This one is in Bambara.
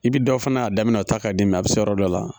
I bi dɔ fana ye a daminɛ o ta ka di mɛ a be se yɔrɔ dɔ la